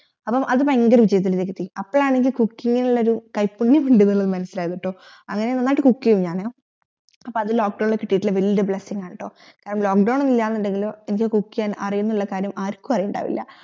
അപ്പം അത് ഭയങ്കര വിജയത്തിലെത്തി അപ്പളാണ് എനിക്ക് cooking നിലൊരു കൈപ്പുണ്യം ഉണ്ടെന്ന് മനസിലായത്ട്ടോ അങ്ങനെ നന്നായിട്ട് cooking യും ഞാൻ അപ്പോ അത് lock down ഇത് കിട്ടിട്ടുള്ള വെല്യ blessing ആണ്ട്ട്ടോ lock down ഇല്ല എന്നെങ്കിലും എനിക്ക് cooking യാൻ അറിയുനുള്ള കാര്യം ആർക്കു അറിവുണ്ടാവില്ല